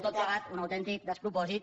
tot plegat un autèntic despropòsit